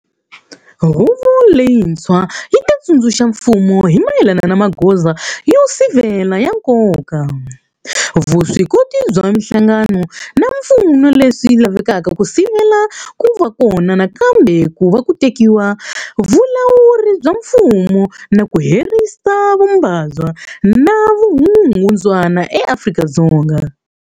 Huvo leyintshwa yi ta tsundzuxa mfumo hi mayelana na magoza yo sivela ya nkoka, vuswikoti bya mihlangano na swipfuno leswi lavekaka ku sivela ku va kona nakambe ka ku tekiwa ka vulawuri bya mfumo na ku herisa vu mbabva na vukungundzwana eAfrika-Dzonga.